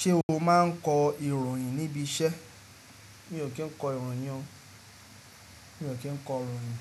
Ṣé o máa ń kọ ìròyìn níbi iṣẹ́? Mi ò kí ń kọ ìròyìn o. Mi ò kí ń kọ ìròyìn.